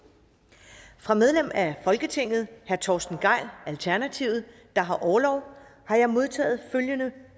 fra medlem af folketinget herre torsten gejl alternativet der har orlov har jeg modtaget